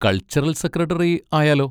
Cultural secretary ആയാലോ?